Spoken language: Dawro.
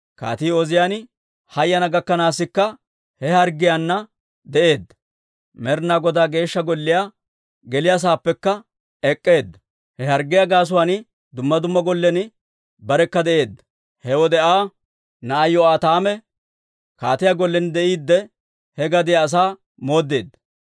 Kaatii Ooziyaane hayana gakkanaasikka he harggiyaana de'eedda; Med'inaa Godaa Geeshsha Golliyaa geliyaasaappekka ek'k'eedda. He harggiyaa gaasuwaan dumma gollen barekka de'eedda. He wode Aa na'ay Yo'aataame kaatiyaa gollen de'iide, he gadiyaa asaa mooddeedda.